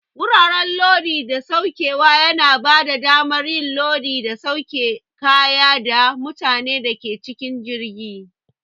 Wuraren Lodi da Saukewa yana bada damar yin lodi da sauke kaya da mutanen da ke cikin jirgi.